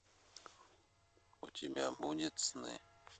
у тебя будет сны